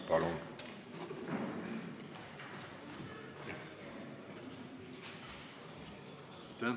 Palun!